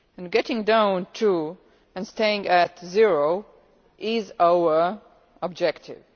Getting down to, and staying at, zero is our objective.